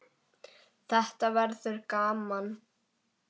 Þetta verður gaman.